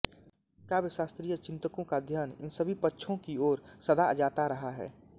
काव्यशास्त्रीय चिन्तकों का ध्यान इन सभी पक्षों की ओर सदा जाता रहा है